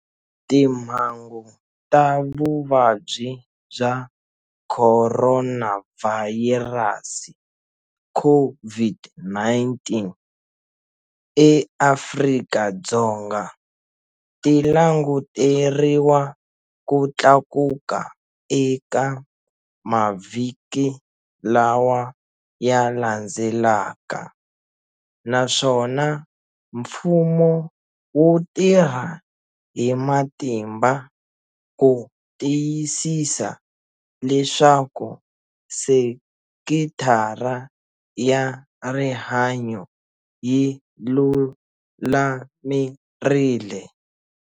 Timhangu ta vuvabyi bya khoronavhayirasi, COVID-19, eAfrika-Dzonga ti languteriwa ku tlakuka eka mavhiki lawa ya landzelaka naswona mfumo wu tirha hi matimba ku tiyisisa leswaku sekithara ya rihanyo yi lulamerile.